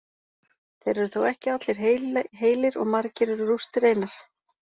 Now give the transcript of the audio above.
Þeir eru þó ekki allir heilir og margir eru rústir einar.